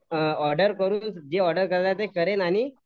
order करून जे order करायचे असेल ते करेल आणि